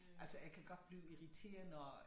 Altså jeg kan godt blive irriteret når